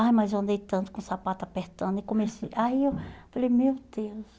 Ai, mas eu andei tanto com o sapato apertando e comecei... Aí eu falei, meu Deus.